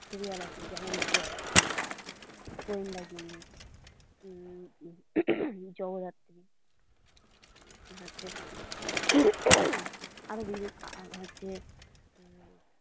Serial আছে যেমন Joba serial গোয়েন্দাগিন্নি উম জগদ্ধাত্রী আছে হম ।